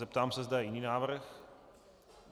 Zeptám se, zda je jiný návrh.